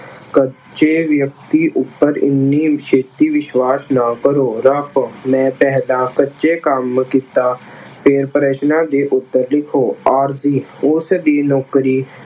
ਕੱਚੇ ਅਹ ਝੂਠੇ ਵਿਅਕਤੀ ਉੱਪਰ ਏਨੀ ਛੇਤੀ ਵਿਸ਼ਵਾਸ਼ ਨਾ ਕਰੋ। ਮੈਂ ਪਹਿਲਾਂ ਕੱਚੇ ਕੰਮ ਕੀਤਾ, ਫਿਰ ਪ੍ਰਸ਼ਨਾਂ ਦੇ ਉੱਤਰ ਲਿਖੋ। ਆਰਜੀ ਉਸ ਦੀ ਨੌਕਰੀ